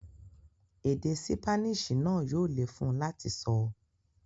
Èdè ṣípánísì náà yóò le fún un láti sọ.